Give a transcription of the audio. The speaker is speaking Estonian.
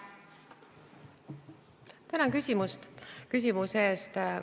Tänan küsimuse eest!